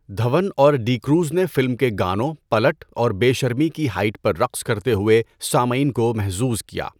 دھون اور ڈی کروز نے فلم کے گانوں، پلٹ اور بے شرمی کی ہائٹ پر رقص کرتے ہوئے سامعین کو محظوظ کیا۔